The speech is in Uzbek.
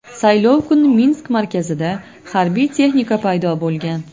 Saylov kuni Minsk markazida harbiy texnika paydo bo‘lgan .